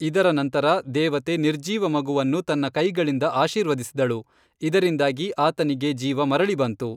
ಇದರ ನಂತರ, ದೇವತೆ ನಿರ್ಜೀವ ಮಗುವನ್ನು ತನ್ನ ಕೈಗಳಿಂದ ಆಶೀರ್ವದಿಸಿದಳು, ಇದರಿಂದಾಗಿ ಆತನಿಗೆ ಜೀವ ಮರಳಿ ಬಂತು.